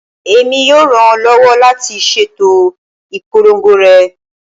Emi yoo ran ọ lọwọ lati ṣeto ipolongo rẹ